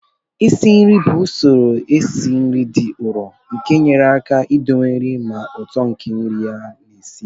Isi nri bụ usoro esi nri dị nro nke na-enyere aka idowe nri na ụtọ nke nri a na-esi